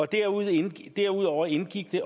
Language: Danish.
derudover indgik derudover indgik det